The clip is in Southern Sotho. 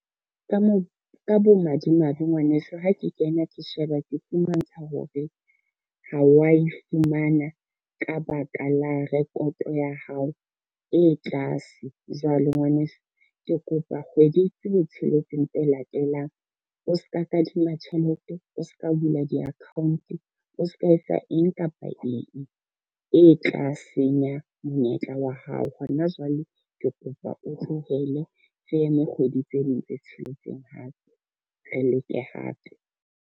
Ka bomadimabe ngwaneso ha ke kena ke sheba, ke fumantsha hore ha wa e fumana ka baka la rekoto ya hao e tlase, jwalo ngwaneso ke kopa kgwedi tse tsheletseng tse latelang o ska kadima tjhelete, o ska bula di-account, o ska etsa eng kapa eng e tla senya monyetla wa hao hona jwale, ke kopa o tlohele re eme kgwedi tse ding tse tsheletseng hape re leke hape.